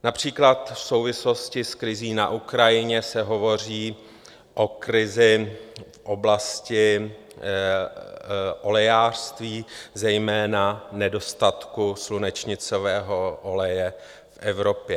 Například v souvislosti s krizí na Ukrajině se hovoří o krizi v oblasti olejářství, zejména nedostatku slunečnicového oleje v Evropě.